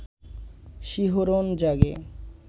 শিহরণ জাগে